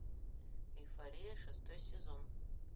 эйфория шестой сезон